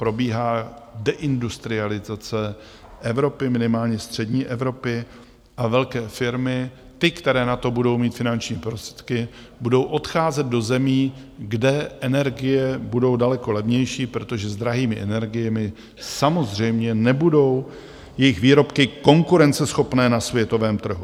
Probíhá deindustrializace Evropy, minimálně střední Evropy, a velké firmy, ty, které na to budou mít finanční prostředky, budou odcházet do zemí, kde energie budou daleko levnější, protože s drahými energiemi samozřejmě nebudou jejich výrobky konkurenceschopné na světovém trhu.